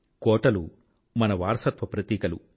కోటలు మన వారసత్వ ప్రతీకలు